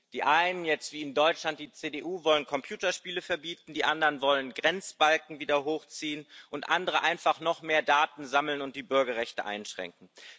Die einen wie jetzt in Deutschland die CDU wollen Computerspiele verbieten, die anderen wollen Grenzbalken wieder hochziehen und wieder andere einfach noch mehr Daten sammeln und die Bürgerrechte einschränken.